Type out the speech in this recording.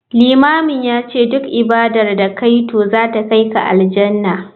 Limamin yace duk ibadar da kayi to zata kaika Aljannah.